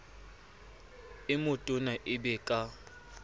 e metona e be ka